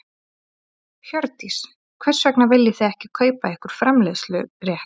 Hjördís: Hvers vegna viljið þið ekki kaupa ykkur framleiðslurétt?